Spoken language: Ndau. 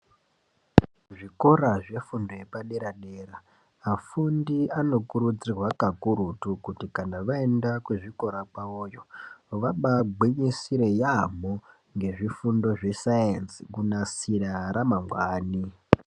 Zvikora zvepadera dera vafundi ano kurudzirwa kakurutu kuti kana vaenda kuzvikora kwavoyo vabaa gwinyisire yambo kuzvifundo zve sainzi kunasira ramangwani .